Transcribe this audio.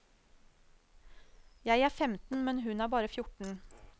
Jeg er femten, men hun er bare fjorten.